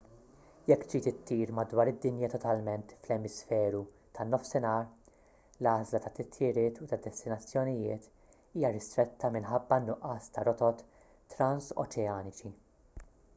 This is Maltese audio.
jekk trid ittir madwar id-dinja totalment fl-emisferu tan-nofsinhar l-għażla tat-titjiriet u tad-destinazzjonijiet hija ristretta minħabba n-nuqqas ta' rotot transoċeaniċi